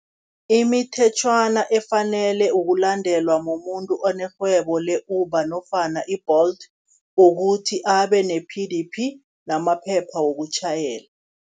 Imithetjhwana efanele ukulandelwa mumuntu onerhwebo le-Uber nofana i-Bolt, ukuthi abe ne-P_D_P namaphepha wokutjhayela.